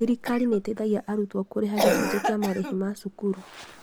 Thirikari nĩteithagia arutwo kũrĩha gĩchunjĩ kĩa marĩhi ma cukuru